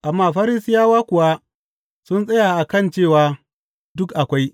Amma Farisiyawa kuwa sun tsaya a kan cewa duk akwai.